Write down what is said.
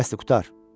Di bəsdir, qurtar.